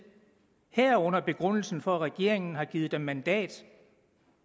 herunder begrundelsen for at regeringen har givet dem mandat